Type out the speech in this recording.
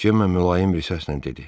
Cemma mülayim bir səslə dedi: